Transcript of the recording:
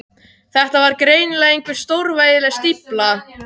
Þetta var greinilega einhver stórvægileg stífla.